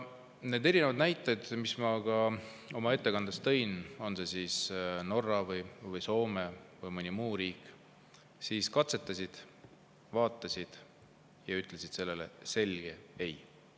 Need erinevad näited, mis ma oma ettekandes tõin – on see siis Norra või Soome või mõni muu riik, nad katsetasid, vaatasid ja ütlesid sellele selge ei.